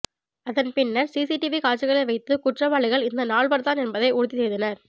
அதன் பின்னர் சிசிடிவி காட்சிகளை வைத்து குற்றவாளிகள் இந்த நால்வர் தான் என்பதை உறுதிசெய்தனர்